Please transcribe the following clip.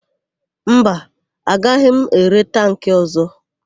Mba, agaghị m ere tankị ọ̀zọ́.